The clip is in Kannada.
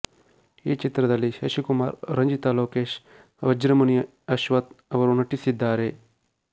ಈ ಚಿತ್ರದಲ್ಲಿ ಶಶಿಕುಮಾರ್ ರಂಜಿತ ಲೋಕೇಶ್ ವಜ್ರಮುನಿ ಅಶ್ವಥ್ ಅವರು ನಟಿಸಿದ್ದಾರೆ